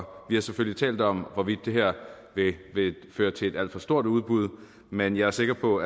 vi har selvfølgelig talt om hvorvidt det her vil føre til et alt for stort udbud men jeg er sikker på